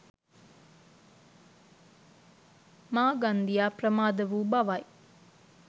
මාගන්දියා ප්‍රමාද වූ බවයි.